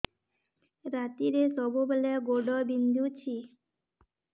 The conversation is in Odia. ରାତିରେ ସବୁବେଳେ ଗୋଡ ବିନ୍ଧୁଛି